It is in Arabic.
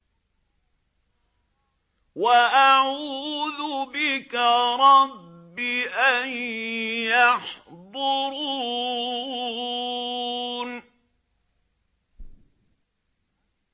وَأَعُوذُ بِكَ رَبِّ أَن يَحْضُرُونِ